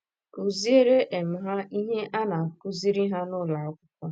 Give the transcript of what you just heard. Kụziere um ha ihe a na - um akụziri um ha n’ụlọ akwụkwọ.